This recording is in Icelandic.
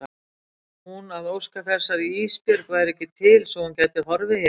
Hún að óska þess að Ísbjörg væri ekki til svo að hún gæti horfið héðan.